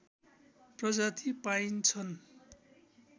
प्रजाति पाइन्छन्